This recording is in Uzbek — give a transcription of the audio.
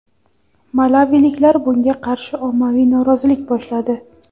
Malaviliklar bunga qarshi ommaviy norozilik boshladi.